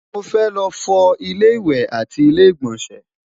mọ fẹ ló fo ilé ìwé àti ilé igbọnsẹ